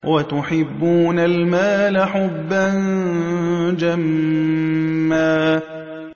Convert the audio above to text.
وَتُحِبُّونَ الْمَالَ حُبًّا جَمًّا